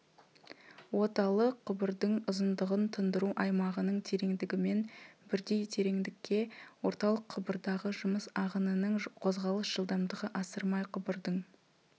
оталық құбырдың ұзындығын тұндыру аймағының тереңдігімен бірдей тереңдікке орталық құбырдағы жұмыс ағынының қозғалыс жылдамдығы асырмай құбырдың